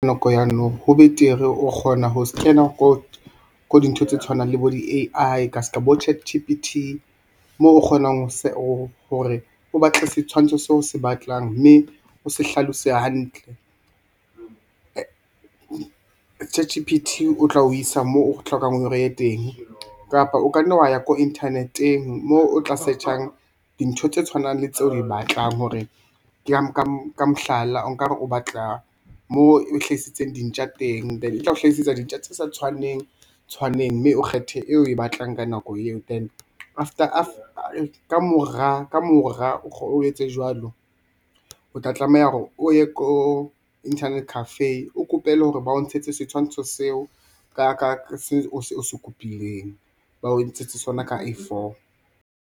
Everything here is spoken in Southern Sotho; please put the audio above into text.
Nako ya now ho betere o kgona ho scanner ko dintho tse tshwanang le bo di A_I ka ska bo Chat_G_P_T moo o kgonang hore o batle setshwantsho seo o se batlang mme o se hlaloseha hantle. Chat_G_P_T o tla o isa moo o hlokang hore e ye teng kapa o kanne wa ya ko internet-eng moo o tla search-ang dintho tse tshwanang le tseo o di batlang hore ka mohlala, okare o batla moo e hlahisitseng dintja teng then e tla o hlahisetsa dintja tse sa tshwaneng tshwaneng mme o kgethe eo o e batlang ka nako eo. Then kamora o etse jwalo, o tla tlameha hore o ye ko internet cafe o kopele hore ba o ntshetse setshwantsho seo o se copy-leng ba o ntshetse sona ka A_four.